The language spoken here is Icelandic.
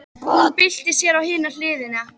Hún byltir sér á hina hliðina.